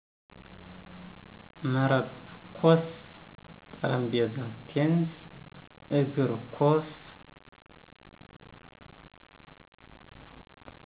መረብ ኮስ ,ጠረጴዛ ቴንስ, እግር ኮስ